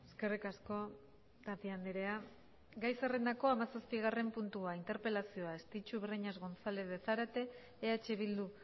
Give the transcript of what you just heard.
eskerrik asko tapia andrea gai zerrendako hamazazpigarren puntua interpelazioa estitxu breñas gonzález de zárate eh bildu